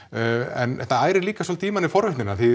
en þetta ærir líka svolítið í manni forvitnina